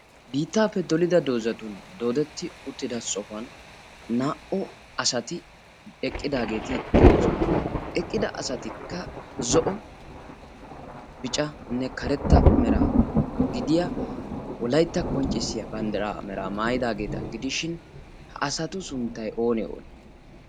biittaappe dolida doozatun doodetti uttida sohuwan naa77u asati eqqidaageeti de7oosona. eqqida asatikka zo7o bicanne karetta meraa gidiya wolaitta qonccissiya banddiraa meraa maayidaageeta gidishin ha asatu sunttai oone oonee?